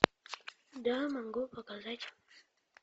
да могу показать